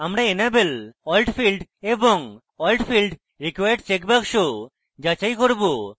আমরা enable alt field এবং alt field required checkbox যাচাই করব